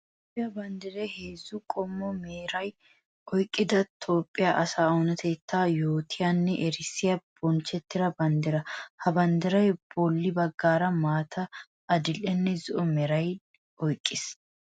Toophphiya banddiray heezzu qommo meraa oyqqidda Toophphiya asaa oonatetta yootiyanne erissiya bonchcho banddira. Ha banddiray bolla bagara maata, adli'eenne zo"o meraa oyqqiis.